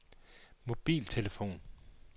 mobiltelefon